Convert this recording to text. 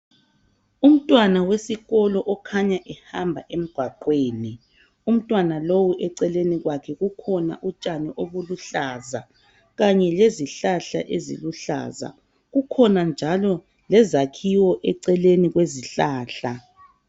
Umntwana wesikolo okhanya ehamba emgwaqweni, umntwana lowo eceleni kwakhe kukhona utshani obuluhlaza kanye lezihlahla eziluhlaza. Kukhona njalo lezakhiwo eceleni kwe zihlala.